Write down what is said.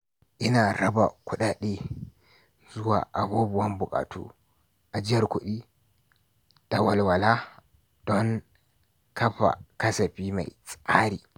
Ina raba kuɗaɗe zuwa abubuwan buƙatu, ajiyar kuɗi, da walwala don kafa kasafi mai tsari.